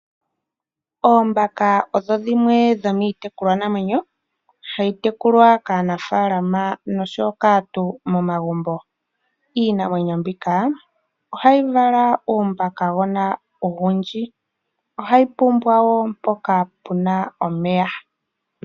Oombaka odho dhimwe dho miitekulwa namwenyo hayi tekulwa kaanafaalama osho kaantu momagumbo. Iinamwenyo mbika ohayi vala uumbakagoona owundji, ohayi pumbwa wo mpoka puna omeya.